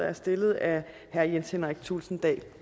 er stillet af herre jens henrik thulesen dahl